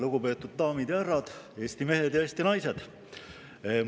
Lugupeetud daamid ja härrad, Eesti mehed ja Eesti naised!